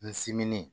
N siminen